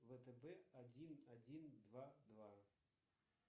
втб один один два два